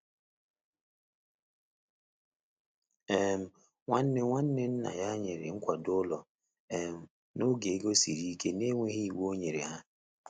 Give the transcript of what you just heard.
um Nwanne Nwanne nna ya nyere nkwado ụlọ um n'oge ego siri ike n'enweghị iwu ọnyere ha.